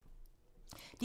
DR1